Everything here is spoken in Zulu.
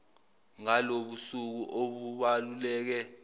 ngalobu busuku obubaluleke